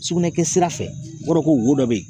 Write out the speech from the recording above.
Sugunɛ kɛ sira fɛ o b'a dɔn ko wo dɔ bɛ yen